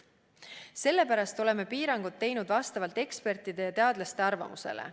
Sellepärast oleme piirangud teinud vastavalt ekspertide ja teadlaste arvamusele.